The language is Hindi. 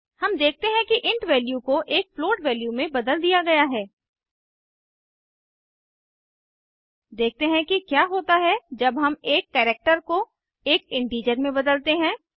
हम देखते हैं कि इंट वैल्यू को एक फ्लोट वैल्यू में बदल दिया गया है देखते हैं कि क्या होता है जब हम एक कैरेक्टर को एक इंटीजर में बदलते हैं